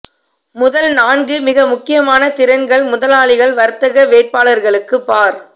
முதல் நான்கு மிக முக்கியமான திறன்கள் முதலாளிகள் வர்த்தக வேட்பாளர்களுக்கு பார்